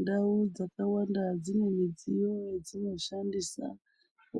Ndau dzakwanda dzine midziyo yadzinoshandisa